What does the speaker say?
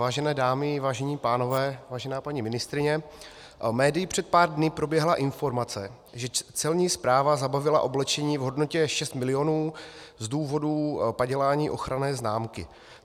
Vážené dámy, vážení pánové, vážená paní ministryně, médii před pár dny proběhla informace, že Celní správa zabavila oblečení v hodnotě 6 milionů z důvodu padělání ochranné známky.